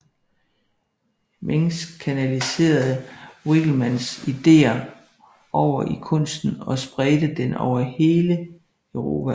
Mengs kanaliserede Winckelmanns ideer over i kunsten og spredte den over hele Europa